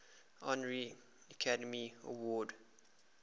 honorary academy award